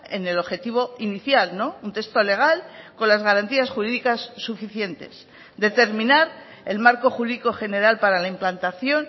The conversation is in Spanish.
en el objetivo inicial un texto legal con las garantías jurídicas suficientes determinar el marco jurídico general para la implantación